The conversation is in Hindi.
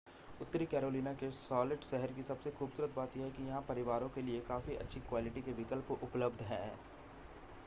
उत्तरी कैरोलिना के शॉलेट शहर की सबसे खूबसूरत बात यह है कि यहां परिवारों के लिए काफ़ी अच्छी क्वालिटी के विकल्प उपलब्ध हैं